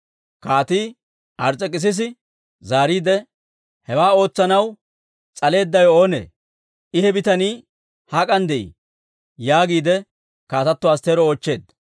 Kaatii Ars's'ekissisi zaariide, «Hewaa ootsanaw s'aleeddawe oonee? I he bitanii hak'an de'ii?» yaagiide Kaatatto Astteero oochcheedda.